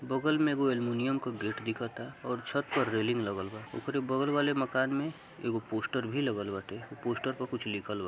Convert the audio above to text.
बगल में अल्युमिनियम का गेट दिखता और छत पर रैलिंग लगल बा। ओकरे बगल वाले मकान में एगो पोस्टर भी लागल बाटे। वो पोस्टर पे कुछ लिखल बा।